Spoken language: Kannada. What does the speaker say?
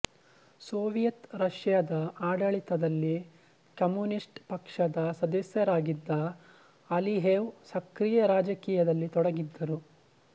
ಸೋವಿಯತ್ ರಷ್ಯಾದ ಆಡಳಿತದಲ್ಲಿ ಕಮ್ಯೂನಿಸ್ಟ್ ಪಕ್ಷದ ಸದಸ್ಯರಾಗಿದ್ದ ಅಲಿಯೇವ್ ಸಕ್ರಿಯ ರಾಜಕೀಯದಲ್ಲಿ ತೊಡಗಿದ್ದರು